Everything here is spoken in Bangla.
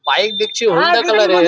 বাইক দেখছি হলদে কালার -এর |